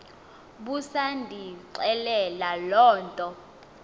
busandixelela loo nto